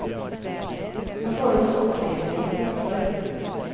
Nå får du også oppskriftene i bokform.